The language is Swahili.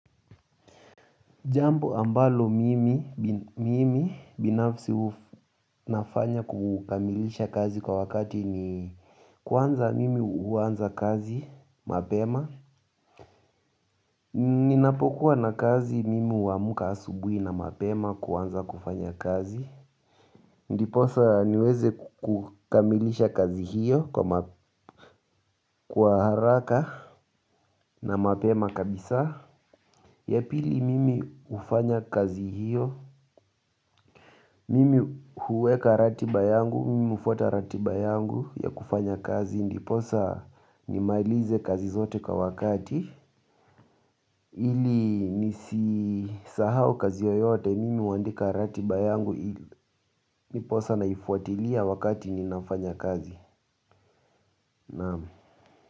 Jambo ambalo mimi binafsi nafanya kukamilisha kazi kwa wakati ni kwanza mimi huanza kazi mapema. Ninapokuwa na kazi mimi huamka asubuhi na mapema kuanza kufanya kazi. Ndiposa niweze kukamilisha kazi hiyo kwa haraka na mapema kabisa. Ya pili mimi hufanya kazi hiyo. Mimi huweka ratiba yangu, mimi hufwata ratiba yangu ya kufanya kazi, ndiposa nimalize kazi zote kwa wakati, ili nisisahau kazi yoyote, mimi huandika ratiba yangu, ndiposa naifuatilia wakati ninafanya kazi.